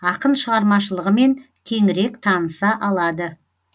ақын шығармашылығымен кеңірек таныса алады